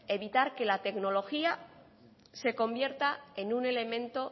evitar que la tecnología se convierta en un elemento